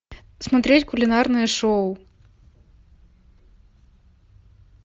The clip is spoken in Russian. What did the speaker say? смотреть кулинарное шоу